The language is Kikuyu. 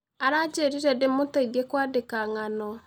Aranjĩrire ndĩmũteithie kwandĩka ng'ano.